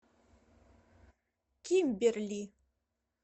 кимберли